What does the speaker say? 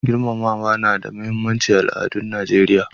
Girmamawa na da muhimmanci a al'adun Nijeriya.